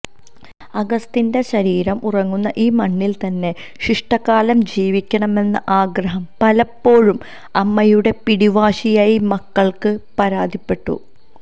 അഗസ്റ്റിന്റെ ശരീരം ഉറങ്ങുന്ന ഈ മണ്ണില് തന്നെ ശിഷ്ടകാലം ജീവിക്കണമെന്ന ആഗ്രഹം പലപ്പോഴും അമ്മയുടെ പിടിവാശിയായി മക്കള് പരാതിപ്പെട്ടു